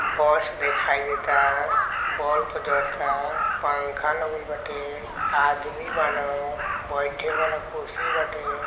बस देखाई देता। बोल्प पर जरता। पंखा लगल बाटे। आदमी बान। बैठे वाला कुर्सी बाटे।